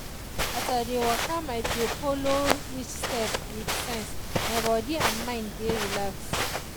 as i dey waka my dey follow each step with sense my body and mind dey relax.